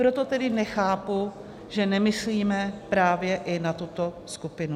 Proto tedy nechápu, že nemyslíme právě i na tuto skupinu.